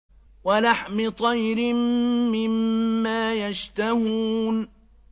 وَلَحْمِ طَيْرٍ مِّمَّا يَشْتَهُونَ